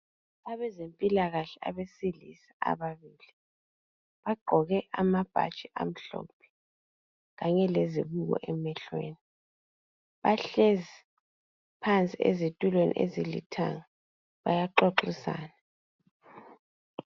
Abezempilakahle abesilisa ababili bagqoke amabhatshi amhlophe kanye lezibuko emehlweni. Bahlezi phansi ezitulweni ezilithanga bayaxoxisana.